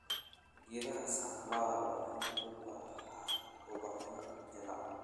Geedaha sunflower waxay ubaxaan ubaxyo jaallo.